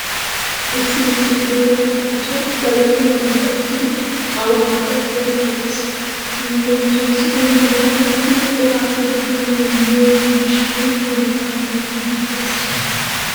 Issi issi gooba zal"anchchay ba zal"iyobata ekkidi awaanikka eqqidi zal"ees. Leemisuwawu ogiya doonan uttidi cora asay biyonne yiyo gishshawu darobata bayzzidi pee'ees.